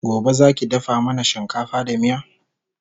Gobe Zaki dafa mana shinkafa da miya?